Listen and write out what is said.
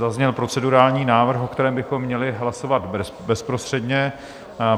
Zazněl procedurální návrh, o kterém bychom měli hlasovat bezprostředně.